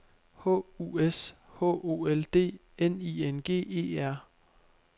H U S H O L D N I N G E R